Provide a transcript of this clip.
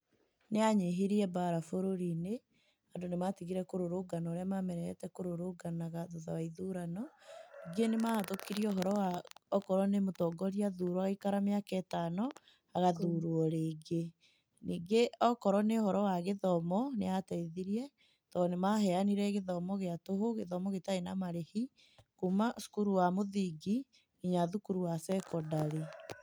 Nĩyanyihirie mbara bũrũri-inĩ andũ nĩmatigire kũrũrũngana ũrĩa mamenyerete kũrũrũngana thutha wa ithurano, ningĩ nĩ mahũtũkirie akorwo nĩ mũtongoria athurwo agaikara mĩaka ĩtano agathurwo rĩngĩ. Nĩngĩ akorwo nĩ ũhoro wa gĩthomo nĩ yateithirie tondũ nĩmaheanire gĩthomo gĩa tũhũ, gĩthomo gĩtarĩ na marĩhi kuma cukuru wa mũthingi kinya thukuru wa cekondarĩ.